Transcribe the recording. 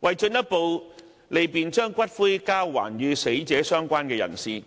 為進一步利便把骨灰交還與死者相關人士，